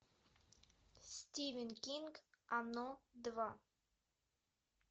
стивен кинг оно два